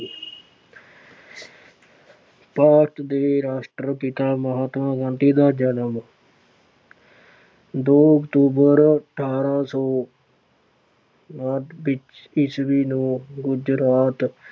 ਭਾਰਤ ਦੇ ਰਾਸ਼ਟਰ ਪਿਤਾ ਮਹਾਤਮਾ ਗਾਂਧੀ ਦਾ ਜਨਮ ਦੋ ਅਕਤੂਬਰ ਅਠਾਰਾਂ ਸੌ ਉਣਾਹਠ ਵਿੱਚ ਈਸਵੀ ਨੂੰ ਗੁਜਰਾਤ